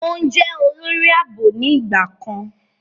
Òún jẹ olori aabo ni ìgbà kan.